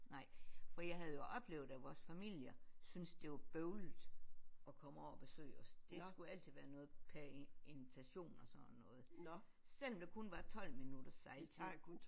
Nej fordi jeg havde jo oplevet at vores familier synes det var bøvlet at komme over og besøge os det skulle altid være noget per invitation og sådan noget selvom der kun var 12 minutters sejltid